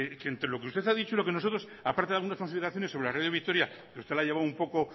que entre lo que usted ha dicho y lo que nosotros aparte de algunas consideraciones sobre la radio vitoria que usted ha llevado un poco